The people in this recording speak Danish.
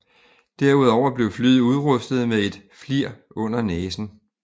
Derudover blev flyet udrustet med et FLIR under næsen